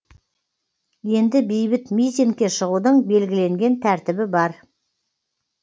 енді бейбіт митингке шығудың белгіленген тәртібі бар